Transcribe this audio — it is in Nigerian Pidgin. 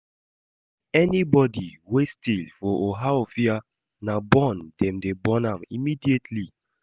Anybody wey steal for Ohaofia, na burn dem dey burn am immediately